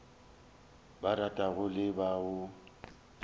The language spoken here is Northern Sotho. ba ratago le ba o